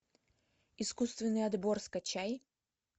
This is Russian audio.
искусственный отбор скачай